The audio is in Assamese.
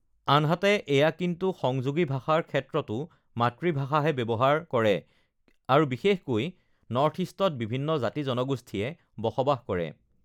আনহাতে ugh এয়া কিন্তু সংযোগী ভাষাৰ ক্ষেত্ৰতো মাতৃভাষাহে ব্য়ৱহাৰ ব্যৱহাৰ কৰে আৰু বিশেষকৈ নৰ্থ ইষ্টত বিভিন্ন জাতি জনগোষ্ঠীয়ে বসবাস কৰে